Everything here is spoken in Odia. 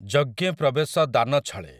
ଯଜ୍ଞେ ପ୍ରବେଶ ଦାନଛଳେ ।